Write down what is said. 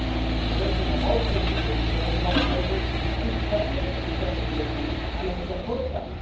The Commission has also introduced very tough measures internally, within the Union, and I support that.